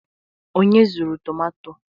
onye zuru tomato?